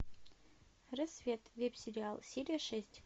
рассвет веб сериал серия шесть